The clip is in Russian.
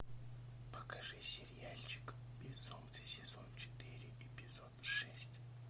покажи сериальчик безумцы сезон четыре эпизод шесть